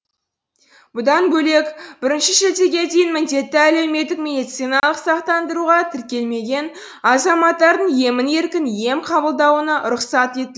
бұдан бөлек бірінші шілдеге дейін міндетті әлеуметтік медициналық сақтандыруға тіркелмеген азаматтардың емін еркін ем қабылдауына рұқсат ет